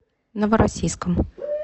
новороссийском